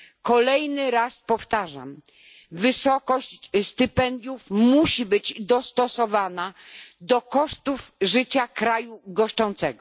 Kolejny raz powtarzam wysokość stypendiów musi być dostosowana do kosztów życia kraju goszczącego.